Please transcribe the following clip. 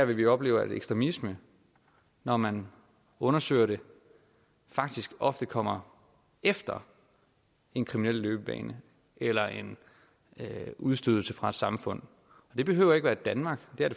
vi opleve at ekstremisme når man undersøger det faktisk ofte kommer efter en kriminel løbebane eller en udstødelse fra et samfund det behøver ikke være danmark